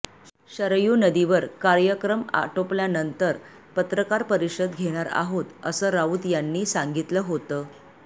शरयू नदीवर कार्यक्रम आटोपल्यानंतर पत्रकार परिषद घेणार आहोत असं राऊत यांनी सांगितलं होतं